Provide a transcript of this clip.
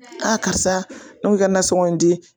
A karisa n'u ka nansɔngɔ di